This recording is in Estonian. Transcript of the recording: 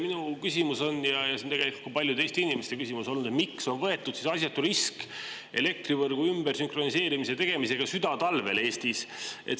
Minu küsimus on – ja see on tegelikult paljude Eesti inimeste küsimus olnud –, miks on võetud asjatu risk elektrivõrgu ümbersünkroniseerimise tegemisega südatalvel Eestis?